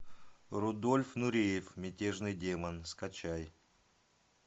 рудольф нуреев мятежный демон скачай